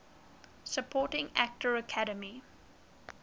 supporting actor academy